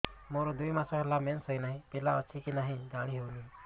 ମୋର ଦୁଇ ମାସ ହେଲା ମେନ୍ସେସ ହୋଇ ନାହିଁ ପିଲା ଅଛି କି ନାହିଁ ଜାଣି ହେଉନି